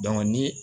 ni